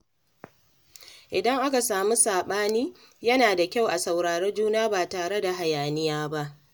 Idan aka sami saɓani, yana da kyau a saurari juna ba tare da hayaniya ba.